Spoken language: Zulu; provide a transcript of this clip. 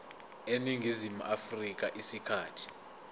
eningizimu afrika isikhathi